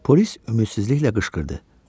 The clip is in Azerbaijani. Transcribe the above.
Polis ümidsizliklə qışqırdı.